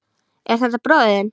Er þetta bróðir þinn?